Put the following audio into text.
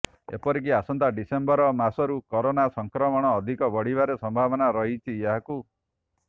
ଏପରିକି ଆସନ୍ତା ଡିସେମ୍ବର ମାସରୁ କରୋନା ସଂକ୍ରମଣ ଅଧିକ ବଢିବାରେ ସମ୍ଭାବନା ରହିଛି ଏହାକୁ